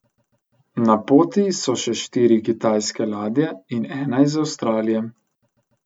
Na poti so še štiri kitajske ladje in ena iz Avstralije.